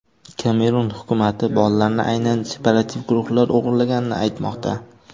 Kamerun hukumati bolalarni aynan separativ guruhlar o‘g‘irlaganini aytmoqda.